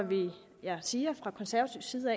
vil jeg sige at vi fra konservativ side